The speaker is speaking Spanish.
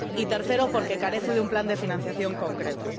y, tercero, porque carece de un plan de financiación concreto.